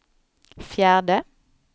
fjärde